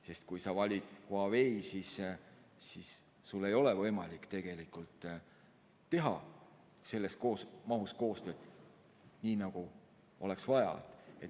Sest kui sa valid Huawei, siis sul ei ole võimalik teha selles mahus koostööd, nii nagu oleks vaja.